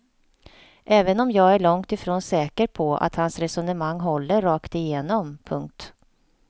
Även om jag är långtifrån säker på att hans resonemang håller rakt igenom. punkt